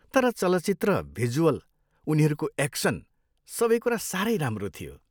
तर चलचित्र, भिजुअल, उनीहरूको एक्सन, सबै कुरा साह्रै राम्रो थियो।